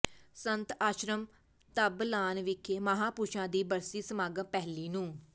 ਸੰਤ ਆਸ਼ਰਮ ਧਬਲਾਨ ਵਿਖੇ ਮਹਾਂਪੁਰਸ਼ਾਂ ਦੀ ਬਰਸੀ ਸਮਗਾਮ ਪਹਿਲੀ ਨੂੰ